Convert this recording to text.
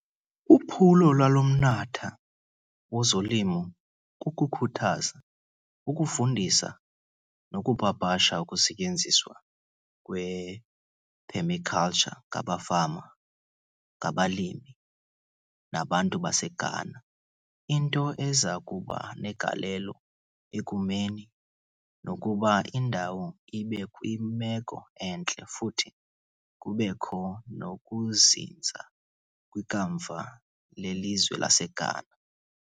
Uphulo lalomnatha wozolima kukukhuthaza, ukufundisa, nokupapasha ukusetyenziswa kwephemikaltsha ngamafama, ngabalimi, nabantu baseGhana, into ezakubanegalelo ekumeni nokuba indalo ibekwimeko entle futhi kubekho nokuzinza kwikamva lelizwelaseGhana.